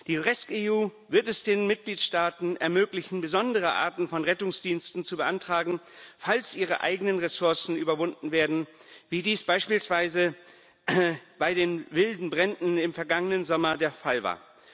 Die rescEU wird es den Mitgliedstaaten ermöglichen, besondere Arten von Rettungsdiensten zu beantragen, falls ihre eigenen Ressourcen erschöpft sind, wie dies beispielsweise bei den wilden Bränden im vergangenen Sommer der Fall war.